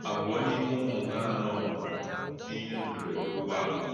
Ábù̄ọ̀ n’ìmé̄ Ụ́mụ̀ hà̄ ànọ̄ nwù̄rụ̀ n’íhè̄ mbèrè̄dè̄ Ụ̀gbọ̀ àlà̄.